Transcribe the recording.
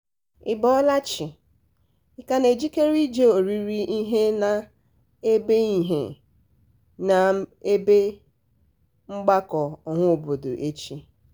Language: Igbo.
ị bọọla chi? ị ka na-ejikere ị jee orire ihe na n'ebe ihe na n'ebe mgbakọ ọhaobodo echi?